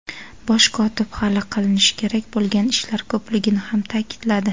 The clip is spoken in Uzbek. Bosh kotib hali qiinishi kerak bo‘lgan ishlar ko‘pligini ham ta’kidladi.